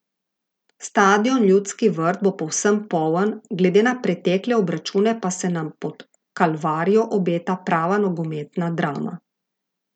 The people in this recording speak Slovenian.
Stadion Ljudski vrt bo povsem poln, glede na pretekle obračune pa se nam pod Kalvarijo obeta prava nogometna drama.